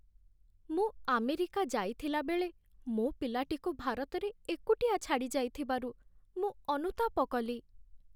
ମୁଁ ଆମେରିକା ଯାଇଥିଲାବେଳେ ମୋ ପିଲାଟିକୁ ଭାରତରେ ଏକୁଟିଆ ଛାଡ଼ି ଯାଇଥିବାରୁ ମୁଁ ଅନୁତାପ କଲି।